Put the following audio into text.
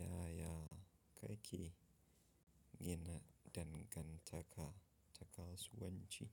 Yaya kake gina dangantaka ta kasuwanci?